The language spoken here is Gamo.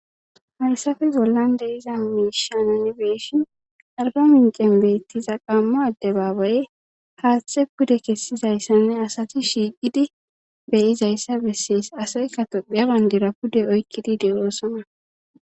Haysafe bollan de iza miishananibeeshin arba mincen beettiza qammo adde baabaye haaththe pude kessizayssanne asati shiiqidi beyizayssa bessees asay katophiya bandira pude oykkidi deeroosana